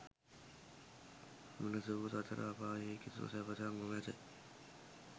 මෙලෙස වූ සතර අපායෙහි කිසිදු සැපතක් නොමැත.